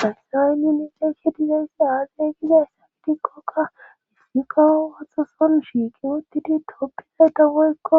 haysani nusi dizayssi aaze gizayssa gidikkoka hisgiqa watho son shiiki wottidi toppizayta woykko